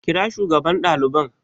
Kira shugaban daliban